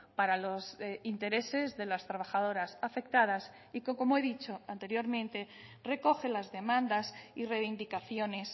para los intereses de las trabajadoras afectadas y que como he dicho anteriormente recoge las demandas y reivindicaciones